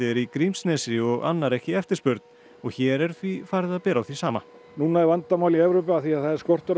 í Grímsnesi og annar ekki eftirspurn hér er því farið að bera á því sama núna er vandamál í Evrópu af því að það er skortur í